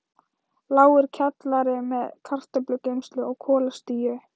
Lágur kjallari með kartöflugeymslu og kolastíu.